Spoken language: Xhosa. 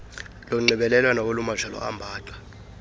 lonxibelelwano olumajelo ambaxa